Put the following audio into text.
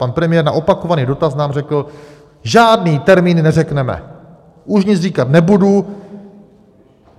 Pan premiér na opakovaný dotaz nám řekl: Žádný termín neřekneme, už nic říkat nebudu.